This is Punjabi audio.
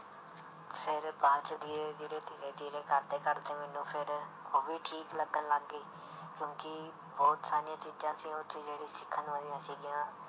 ਫਿਰ ਬਾਅਦ 'ਚ ਧੀਰੇ ਧੀਰੇ ਕਰਦੇ ਕਰਦੇ ਮੈਨੂੰ ਫਿਰ ਉਹ ਵੀ ਠੀਕ ਲੱਗਣ ਲੱਗ ਗਈ ਕਿਉਂਕਿ ਬਹੁਤ ਸਾਰੀਆਂ ਚੀਜ਼ਾਂ ਸੀ ਉਹ 'ਚ ਜਿਹੜੀ ਸਿੱਖਣ ਵਾਲੀਆਂ ਸੀਗੀਆਂ